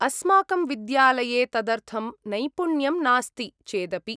अस्माकं विद्यालये तदर्थं नैपुण्यं नास्ति चेदपि।